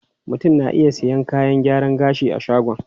Mutum na iya sayan kayan gyaran gashi a shagon.